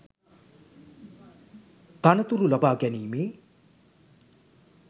තනතුරු ලබාගැනීමේ